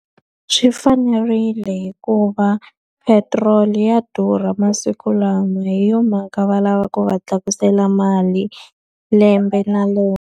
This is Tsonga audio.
Swi fanerile hikuva petiroli ya durha masiku lawa, hi yona mhaka va lava ku va tlakusela mali lembe na lembe.